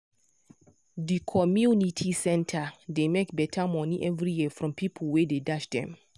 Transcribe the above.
the community center dey make better money every year from people wey dey dash dem.